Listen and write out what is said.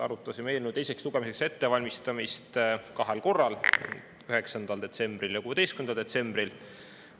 Arutasime eelnõu teiseks lugemiseks ettevalmistamist kahel korral: 9. detsembril ja 16. detsembril.